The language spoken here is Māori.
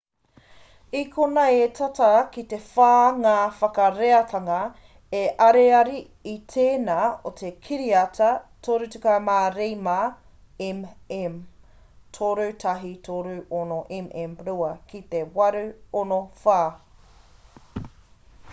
i konei e tata ki te whā ngā whakareatanga te ariari i tēnā o te kiriata 35 mm 3136 mm2 ki te 864